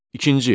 İkinci.